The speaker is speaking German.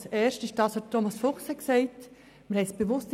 Der eine ist das, was Thomas Fuchs gesagt hat.